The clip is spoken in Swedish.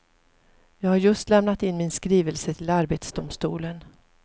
Jag har just lämnat in min skrivelse till arbetsdomstolen.